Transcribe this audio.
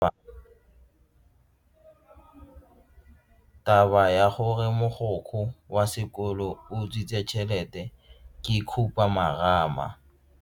Taba ya gore mogokgo wa sekolo o utswitse tšhelete ke khupamarama.